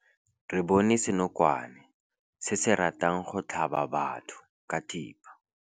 Re bone senokwane se se ratang go tlhaba batho ka thipa.